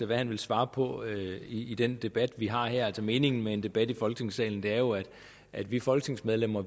hvad han vil svare på i i den debat vi har her meningen med en debat i folketingssalen er jo at vi folketingsmedlemmer